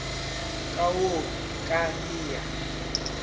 ka o ka re a